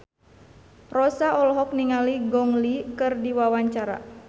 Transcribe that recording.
Rossa olohok ningali Gong Li keur diwawancara